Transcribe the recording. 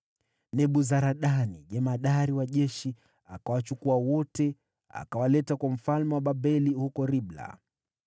Nebuzaradani jemadari akawachukua hao wote na kuwapeleka kwa mfalme wa Babeli huko Ribla.